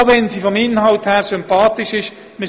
Dies auch wenn sie vom Inhalt her sympathisch ist.